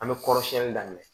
An bɛ kɔrɔsiyɛnni daminɛ